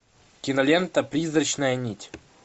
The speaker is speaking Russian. кинолента призрачная нить